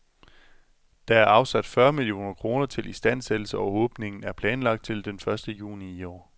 Der er afsat fyrre millioner kroner til istandsættelse, og åbningen er planlagt til den første juni i år.